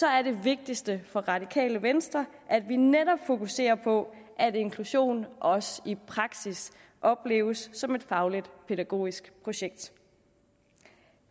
er det vigtigste for det radikale venstre at vi netop fokuserer på at inklusion også i praksis opleves som et fagligt pædagogisk projekt